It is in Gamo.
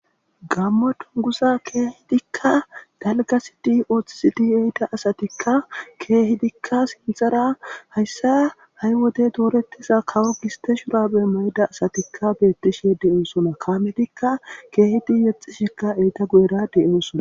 gammo tunguza keehidikka dalgasi di ooththisidi eyda asatikka keehidikka sinxara hayssa ha7y wodey doorettiza kawo giste shubabe moyida asatikka beettishe deyoosona kamedikka keehidi yexxisheka eyta guyera de7oosona